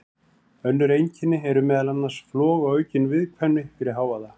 Önnur einkenni eru meðal annars flog og aukin viðkvæmni fyrir hávaða.